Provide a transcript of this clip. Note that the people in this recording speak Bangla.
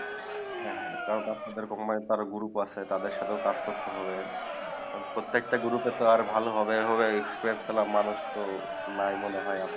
হ্যাঁ হ্যাঁ তার group আছে তাদের সাথে কাজ করতে হবে প্ৰত্যেক টা group আর ভালো হবে হবে exprince এ সো মানুষ তো নাই মনে হয়